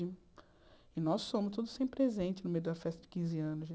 E nós fomos todos sem presente no meio da festa de quinze anos né.